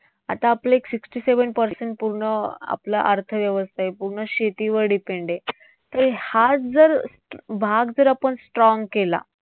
आता आपले एक sixty seven percent पूर्ण आपलं अर्थव्यवस्था आहे पूर्ण शेतीवर depend आहे. तर हाच जर भाग जर आपण strong केला